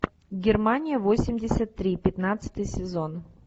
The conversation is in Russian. германия восемьдесят три пятнадцатый сезон